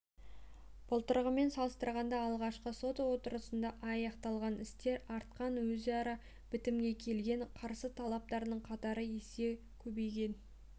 былтырғымен салыстырғанда алғашқы сот отырысында аяқталған істер артқан өзара бітімге келген қарсы тараптардың қатары есеге көбейген